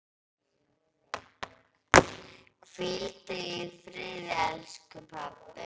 Hvíldu í friði, elsku pabbi.